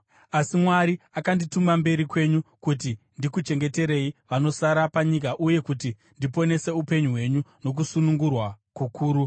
Asi Mwari akandituma mberi kwenyu kuti ndikuchengeterei vanosara panyika uye kuti ndiponese upenyu hwenyu nokusunungurwa kukuru.